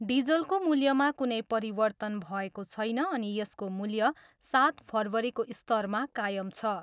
डिजलको मूल्यमा कुनै परिवर्तन भएको छैन अनि यसको मूल्य सात फरवरीको स्तरमा कायम छ।